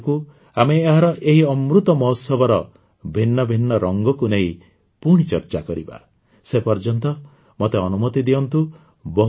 ଆରଥରକୁ ଆମେ ଆମର ଏହି ଅମୃତ ମହୋତ୍ସବର ଭିନ୍ନ ଭିନ୍ନ ରଙ୍ଗକୁ ନେଇ ପୁଣି ଚର୍ଚ୍ଚା କରିବା ସେପର୍ଯ୍ୟନ୍ତ ମତେ ଅନୁମତି ଦିଅନ୍ତୁ